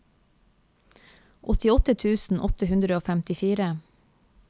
åttiåtte tusen åtte hundre og femtifire